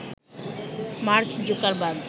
mark Zuckerberg